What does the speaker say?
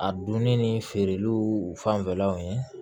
A donni ni feereliw fanfɛlaw ye